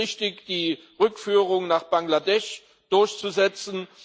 Es ist richtig, die Rückführungen nach Bangladesch durchzusetzen.